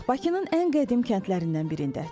Bakının ən qədim kəndlərindən birində.